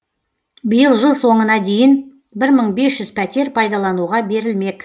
биыл жыл соңына дейін бір мың бес жүз пәтер пайдалануға берілмек